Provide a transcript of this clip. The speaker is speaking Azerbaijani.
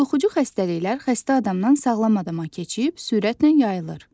Yoluxucu xəstəliklər xəstə adamdan sağlam adama keçib sürətlə yayılır.